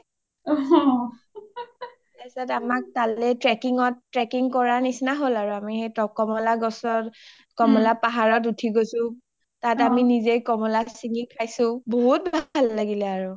তাৰ পিছত আমাৰ তালে trekking কৰা নিচিনা হ’ল আৰু আমি সেই কমলা গছৰ কমলা পাহাৰত উথি গৈছো তাত আমি নিজে কমলা চিঙী খাইছো বহুত ভাল লাগিলে আৰু